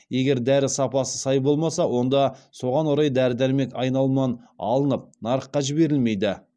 егер дәрі сапасы сай болмаса онда соған орай дәрі дәрмек айналымынан алынып нарыққа жіберілмейді